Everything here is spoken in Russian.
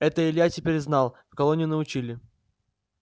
это илья теперь знал в колонии научили